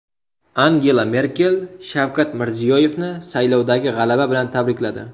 Angela Merkel Shavkat Mirziyoyevni saylovdagi g‘alaba bilan tabrikladi.